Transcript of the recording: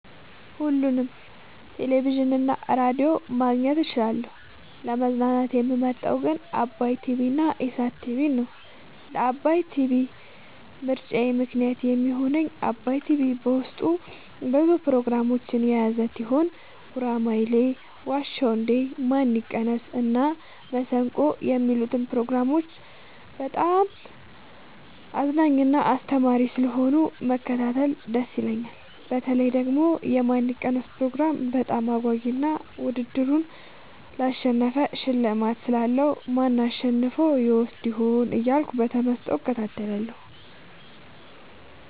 ሁሉንም ቴሌቪዥን እና ሬዲዮ ማግኘት እችላለሁ: : ለመዝናናት የምመርጠዉ ግን ዓባይ ቲቪንና ኢሣት ቲቪን ነዉ። ለዓባይ ቲቪ ምርጫየ ምክንያት የሚሆነኝ ዓባይ ቲቪ በዉስጡ ብዙ ፕሮግራሞችን የያዘ ቲሆን ጉራማይሌ የዋ ዉ እንዴ ማን ይቀነስ እና መሠንቆ የሚሉትን ፕሮግራሞች በጣም አዝናኝና አስተማሪ ስለሆኑ መከታተል ደስ ይለኛል። በተለይ ደግሞ የማን ይቀነስ ፕሮግራም በጣም አጓጊ እና ዉድድሩን ላሸነፈ ሽልማት ስላለዉ ማን አሸንፎ ይወስድ ይሆን እያልኩ በተመስጦ እከታተላለሁ።